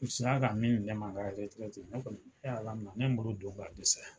U sera ka min di ne ma n ka yɛrɛtɛrɛti ne kɔni ye ala minɛ ne ye n bolo don ka dɛsɛ.